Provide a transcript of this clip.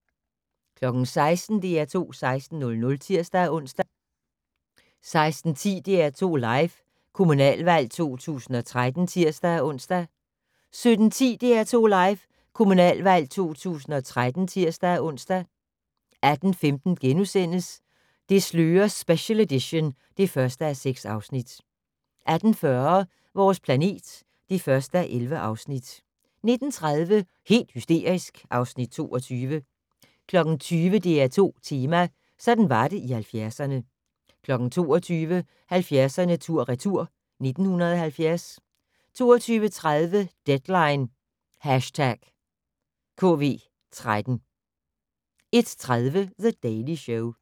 16:00: DR2 16:00 (tir-ons) 16:10: DR2 Live: Kommunalvalg 2013 (tir-ons) 17:10: DR2 Live: Kommunalvalg 2013 (tir-ons) 18:15: Det slører special edition (1:6)* 18:40: Vores planet (1:11) 19:30: Helt hysterisk (Afs. 22) 20:00: DR2 Tema: Sådan var det i 70'erne 22:00: 70'erne tur/retur: 1970 22:30: Deadline #KV13 01:30: The Daily Show